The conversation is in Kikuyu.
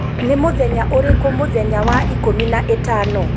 Nĩ mũthenya ũrĩkũ mũthenya wa ikũmi na ĩtano